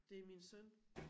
Det min søn